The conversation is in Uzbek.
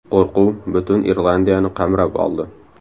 Qo‘rquv butun Irlandiyani qamrab oldi.